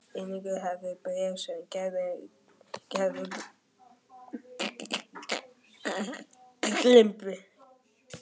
Einnig hafði ég önnur bréf sem Gerður geymdi.